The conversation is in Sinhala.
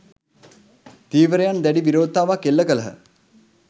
ධීවරයන් දැඩි විරෝධතාවක් එල්ල කළහ